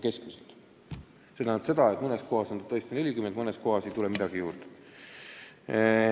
See tähendab seda, et mõnes kohas on tõesti juurde vaja 40, mõnes kohas ei tule midagi juurde.